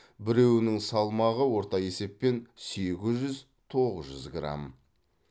біреуінің салмағы орта есеппен сегіз жүз тоғыз жүз грамм